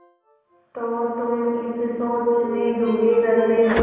तो तुम इस सोच में डूबे रहते हो